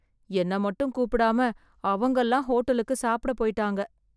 என்னை மட்டும் கூப்பிடாம, அவங்கல்லாம் ஹோட்டலுக்கு சாப்பிட போய்ட்டாங்க...